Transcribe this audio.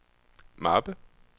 mappe